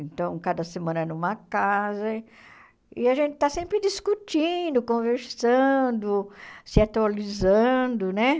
Então, cada semana é numa casa e a gente está sempre discutindo, conversando, se atualizando, né?